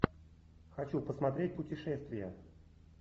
хочу посмотреть путешествия